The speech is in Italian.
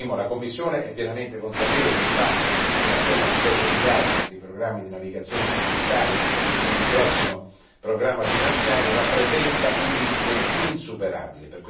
Primo la Commissione è pienamente consapevole del fatto che la somma di 7 miliardi per i programmi di navigazione satellitare per il prossimo programma finanziario rappresenta un limite insuperabile.